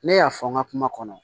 Ne y'a fɔ n ka kuma kɔnɔ